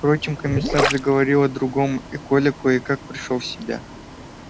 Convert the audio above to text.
впрочем комиссар заговорил о другом и коля кое как пришёл в себя